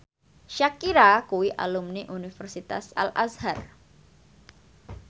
Shakira kuwi alumni Universitas Al Azhar